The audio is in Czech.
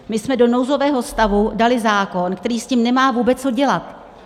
My jsme do nouzového stavu dali zákon, který s tím nemá vůbec co dělat.